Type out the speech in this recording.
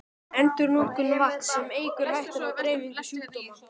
Endurnotkun vatns, sem eykur hættuna á dreifingu sjúkdóma.